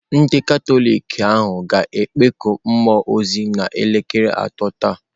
Ndị Katọlik ahụ ga-ekpeku mmụọ ozi n'elekere atọ taa.